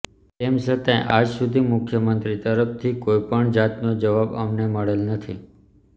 તેમ છતાંય આજસુધી મુખ્યમંત્રી તરફથી કોઈપણ જાતનો જવાબ અમને મળેલ નથી